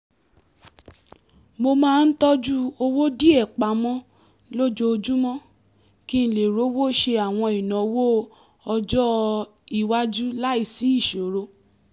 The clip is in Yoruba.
mo máa ń tọ́jú owó díẹ̀ pamọ́ lójoojúmọ́ kí n lè rówó ṣe àwọn ìnáwó ọjọ́-iwájú láìsí ìṣòro